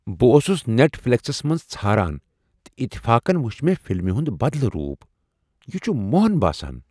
بہٕ اوسُس Netflix منز ژھاران، تہٕ اتفاقن وُچھ مےٚ فِلمہِ ہُند بدلہٕ روٗپ یہِ چُھ مۄہَن باسان۔